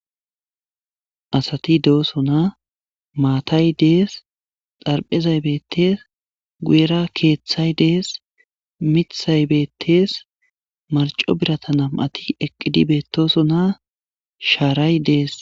Asat dosona maatay des lo'izay bettes guyera keththay des miththay beettes marcco biratay eqid betossona sharay des